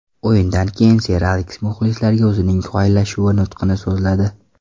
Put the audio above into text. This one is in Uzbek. O‘yindan keyin ser Aleks muxlislarga o‘zining xayrlashuv nutqini so‘zladi.